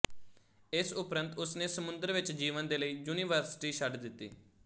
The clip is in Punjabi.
ਇਸ ਉੱਪਰੰਤ ਉਸਨੇ ਸਮੁੰਦਰ ਵਿੱਚ ਜੀਵਨ ਦੇ ਲਈ ਯੂਨੀਵਰਸਿਟੀ ਛੱਡ ਦਿੱਤੀ